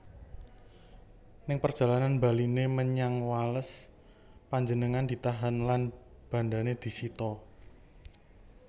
Ing perjalanan baliné menyang Wales panjenengané ditahan lan bandané disita